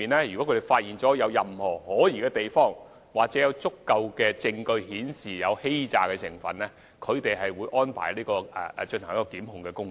如果發現任何可疑之處，又或有足夠證據顯示申請個案具有欺詐成分，有關人員會安排檢控工作。